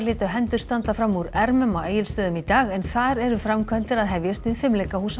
létu hendur standa fram úr ermum á Egilsstöðum í dag en þar eru framkvæmdir að hefjast við